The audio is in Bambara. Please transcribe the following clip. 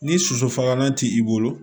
Ni sosofagalan t'i bolo